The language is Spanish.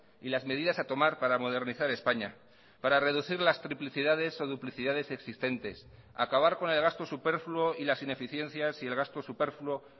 y las medidas a tomar para modernizar españa para reducir las triplicidades o duplicidades existentes acabar con el gasto superfluo y las ineficiencias y el gasto superfluo